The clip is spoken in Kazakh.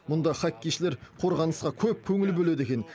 мұнда хоккейшілер қорғанысқа көп көңіл бөледі екен